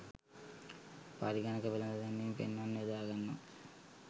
පරිගනක වෙලද දැන්වීම් පෙන්වන්න යොදාගන්නවා.